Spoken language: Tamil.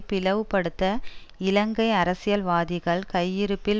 பிளவுபடுத்த இலங்கை அரசியல்வாதிகள் கையிருப்பில்